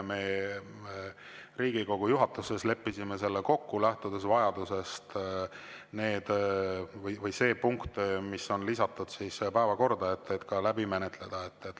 Me Riigikogu juhatuses leppisime selle kokku, lähtudes vajadusest see punkt, mis on lisatud päevakorda, läbi menetleda.